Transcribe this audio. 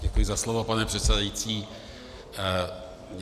Děkuji za slovo, pane předsedající.